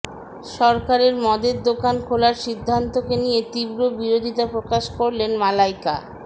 সরকারের মদের দোকান খোলার সিদ্ধান্তকে নিয়ে তীব্র বিরোধিতা প্রকাশ করলেন মালাইকা